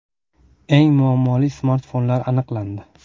Eng muammoli smartfonlar aniqlandi.